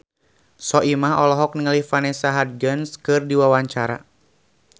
Soimah olohok ningali Vanessa Hudgens keur diwawancara